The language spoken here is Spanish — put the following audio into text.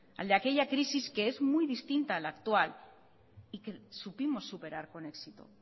al de aquella crisis que es muy distinta a la actual y que supimos superar con éxito